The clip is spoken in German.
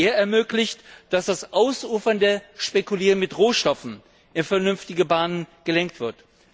Er ermöglicht, dass das ausufernde Spekulieren mit Rohstoffen in vernünftige Bahnen gelenkt wird.